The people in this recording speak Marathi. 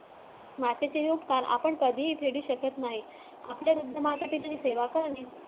मातेचे आपण कधीही पेढू शकत नाही